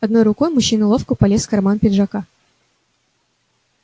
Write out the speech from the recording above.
одной рукой мужчина ловко полез в карман пиджака